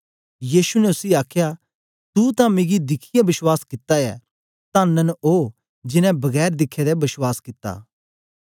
यीशु ने उसी आखया तू तां मिगी दिखियै बश्वास कित्ता ऐ तन्न न ओ जिनैं बगैर दिखे दे बश्वास कित्ता